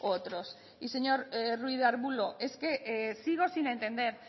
otros y señor ruiz de arbulo es que sigo sin entender